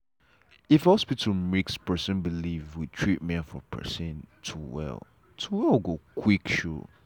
if hospital mix person belief with treatment for person to well to well go quick show.